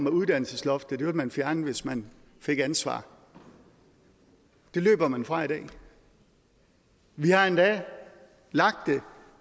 at uddannelsesloftet ville man fjerne hvis man fik ansvar løber man fra i dag vi har endda lagt